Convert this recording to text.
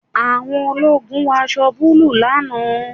Àwọn ológun wọ aṣọ búlúù lánàá